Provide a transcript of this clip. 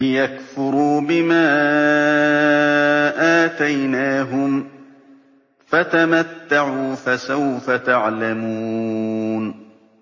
لِيَكْفُرُوا بِمَا آتَيْنَاهُمْ ۚ فَتَمَتَّعُوا ۖ فَسَوْفَ تَعْلَمُونَ